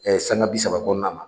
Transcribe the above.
sanga bi saba kɔnɔna na.